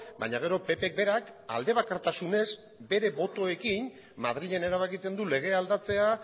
baina gero ppk berak aldebakartasunez bere botoekin madrilen erabakitzen du legea aldatzea